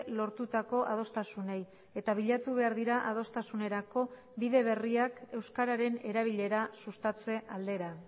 lortutako adostasunei eta bilatu behar dira adostasunerako bide berriak euskararen erabilera sustatze aldera